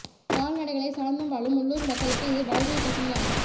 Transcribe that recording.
கால்நடைகளை சார்ந்து வாழும் உள்ளூர் மக்களுக்கு இது வாழ்வியல் பிரச்சனையும் ஆகும்